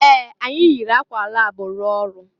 Ee! Anyị yiri akwa lab rụọ ọrụ.